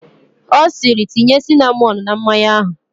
Ọ sịịrị, tinye sinamọn na mmanya ahụ!